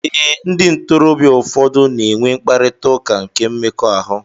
Ee ndị ntorobịa ụfọdụ n'enwe mkparita ụka nke mmekọahụ